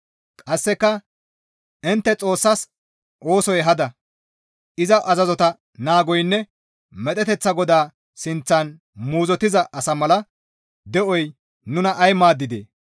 Qasseka intte, ‹Xoossas oosoy hada; iza azazota naagoynne medheteththa Goda sinththan muuzottiza asa mala de7oy nuna ay maaddidee?